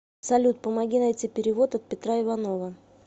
салют помоги найти перевод от петра иванова